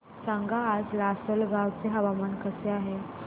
सांगा आज लासलगाव चे हवामान कसे आहे